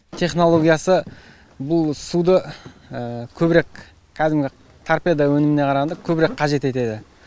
технологиясы бұл суды көбірек кәдімгі торпеда өніміне қарағанда көбірек қажет етеді